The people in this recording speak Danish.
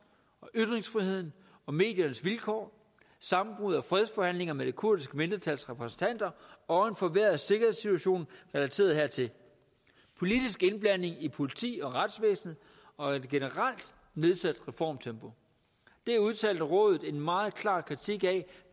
og ytringsfriheden og mediernes vilkår sammenbrud af fredsforhandlingerne med det kurdiske mindretals repræsentanter og en forværret sikkerhedssituation relateret hertil politisk indblanding i politi og retsvæsen og et generelt nedsat reformtempo det udtalte rådet en meget klar kritik af